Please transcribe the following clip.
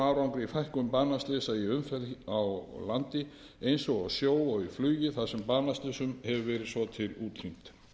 árangri í fækkun banaslysa í umferð á landi eins og á sjó og í flugi þar sem banaslysum hefur svo til verið útrýmt